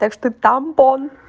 так что тампон